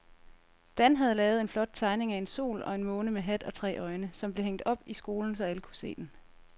Dan havde lavet en flot tegning af en sol og en måne med hat og tre øjne, som blev hængt op i skolen, så alle kunne se den.